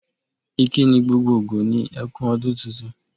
Ìkíni gbgogbogbò ni e kú ọdún tuntun.